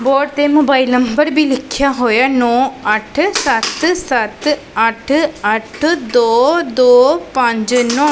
board ਤੇ mobile number ਭੀ ਲਿਖਿਆ ਹੋਇਐ ਨੌ ਅੱਠ ਸੱਤ ਸੱਤ ਅੱਠ ਅੱਠ ਦੋ ਦੋ ਪੰਜ ਨੌ --